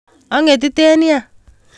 O'ngetiten nia